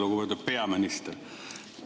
Lugupeetud peaminister!